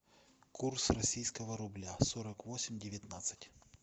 курс российского рубля сорок восемь девятнадцать